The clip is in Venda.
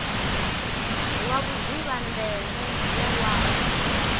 lwa vhudzivha ndeme ya luambo